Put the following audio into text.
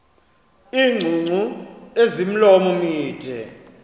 iingcungcu ezimilomo mide